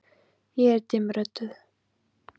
Ég er dimmrödduð.